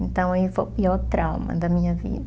Então aí, foi o pior trauma da minha vida.